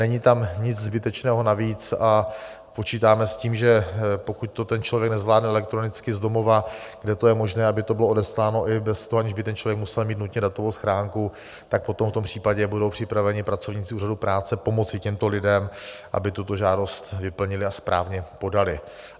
Není tam nic zbytečného navíc a počítáme s tím, že pokud to ten člověk nezvládne elektronicky z domova - kde to je možné, aby to bylo odesláno i bez toho, aniž by ten člověk musel mít nutně datovou schránku - tak potom v tom případě budou připraveni pracovníci úřadů práce pomoci těmto lidem, aby tuto žádost vyplnili a správně podali.